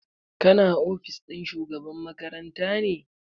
Kana ofis ɗin shugaba makaranta ne?